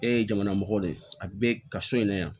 E ye jamana mɔgɔ de a bɛ ka so in na yan